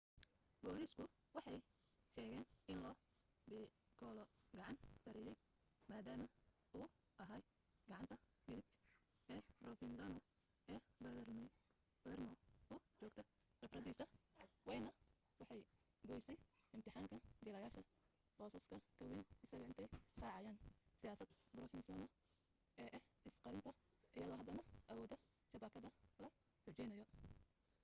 booliisku waxay sheegeen in lo piccolo gacan sarreeyay maadaama uu ahaa gacanta midig ee provenzano ee palermo u joogta khibradiisa waynina waxay u goysay ixtiraamka jiilasha boosaska ka wayn isaga intay raacayaan siyaasadda provenzano ee ah is qarinta iyadoo haddana awoodda shabakadada la xoojinayo